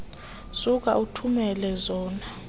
suka uthumele zona